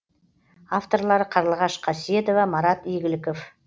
авторлары қарлығаш қасиетова марат игіліков